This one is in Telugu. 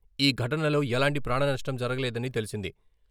ఈ ఘటనలో ఎలాంటి ప్రాణనష్టం జరగలేదని తెలిసింది.